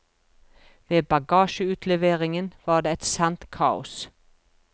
Ved bagasjeutleveringen var det et sant kaos.